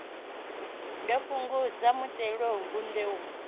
ḓo fhungudza muthelogu ṱe u